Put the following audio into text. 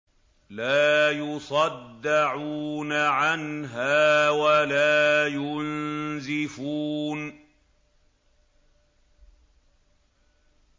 لَّا يُصَدَّعُونَ عَنْهَا وَلَا يُنزِفُونَ